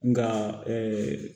Nka